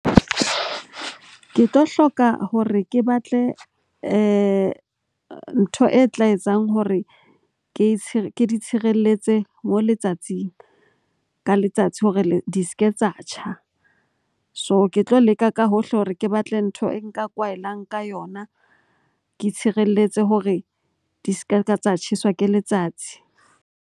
Ke tlo hloka hore ke batle ntho e tla etsang hore ke di tshireletse moo letsatsing ka letsatsi hore di se ke tsa tjha. So, ke tlo leka ka hohle hore ke batle ntho e nka kwaelang ka yona, ke tshireletse hore di se ka tsa tjheswa ke letsatsi.